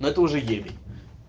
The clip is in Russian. но это уже ебень